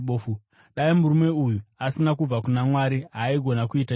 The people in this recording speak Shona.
Dai murume uyu asina kubva kuna Mwari, haaigona kuita chinhu.”